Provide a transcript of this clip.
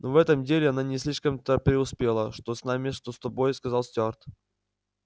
ну в этом деле она не слишком-то преуспела что с нами что с тобой сказал стюарт